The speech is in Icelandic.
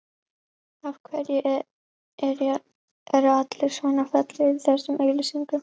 Af hverju eru allir svona fallegir í þessum auglýsingum?